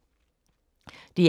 DR K